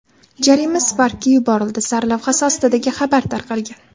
Jarima Spark’ga yuborildi” sarlavhasi ostidagi xabar tarqalgan.